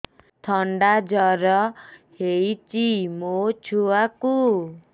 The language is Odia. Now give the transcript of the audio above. ଥଣ୍ଡା ଜର ହେଇଚି ମୋ ଛୁଆକୁ